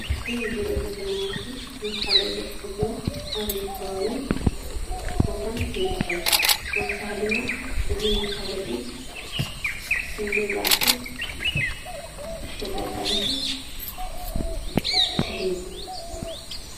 እዚ እንሪኦ ዘለና ምስሊ መፋለጢ ሕትመት አበይ ከባብን ቦታን ይርከብ? ተወሳኪ ድማ እዚ መፋለጢ ክንደይ ዝአክል ተጠቀምቲ ይስሕብ?